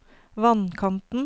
vannkanten